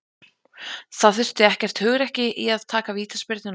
Það þurfti ekkert hugrekki í að taka vítaspyrnuna.